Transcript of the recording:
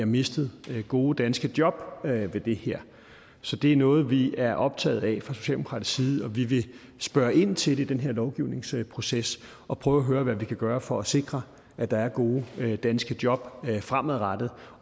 mister gode danske job ved det her så det er noget vi er optaget af fra socialdemokratisk side og vi vil spørge ind til det i den her lovgivningsproces og prøve at høre hvad vi kan gøre for at sikre at der er gode danske job fremadrettet